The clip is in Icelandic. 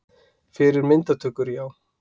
Fyrir myndatökur, já.